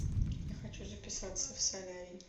я хочу записаться в солярий